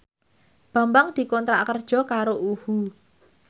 Bambang dikontrak kerja karo UHU